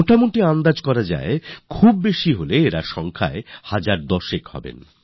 মোটা দাগের হিসাবে হয়তো হাজার দশেক হবেন